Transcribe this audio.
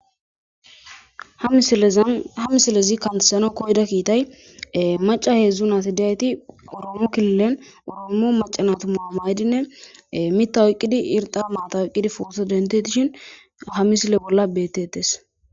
ha misilezi kantesano koyda kiitay maca heedzdzu nas hidiyayti oromu killen oroomo macana tuma maydinne mita oyqqidi irxa maata oyqqidi footo denteishin ha misile bolla bettetes